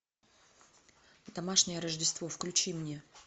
домашнее рождество включи мне